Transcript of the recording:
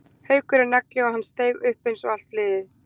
Haukur er nagli og hann steig upp eins og allt liðið.